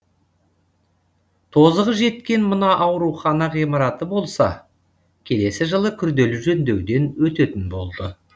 тозығы жеткен мына аурухана ғимараты болса келесі жылы күрделі жөндеуден өтетін болды